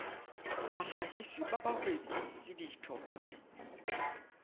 bahlahisi ba bahwebi le ditho